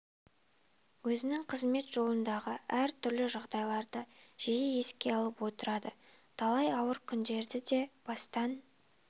өзінің қызмет жолындағы әр түрлі жағдайларды жиі еске алып отырады талай ауыр күндер де бастан